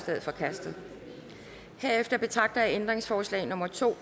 er forkastet herefter betragter jeg ændringsforslag nummer to